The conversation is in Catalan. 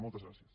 moltes gràcies